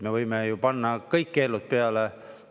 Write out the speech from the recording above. Me võime ju panna kõik keelud peale.